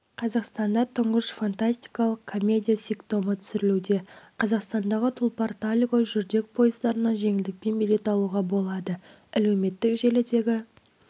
қазақстанда тұңғыш фантастикалық комедия ситкомы түсірілуде қазақстандағы тұлпар-тальго жүрдек пойыздарына жеңілдікпен билет алуға болады әлеуметтік желідегі